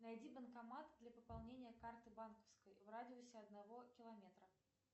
найди банкомат для пополнения карты банковской в радиусе одного километра